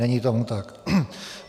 Není tomu tak.